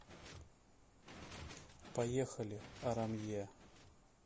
поехали арамье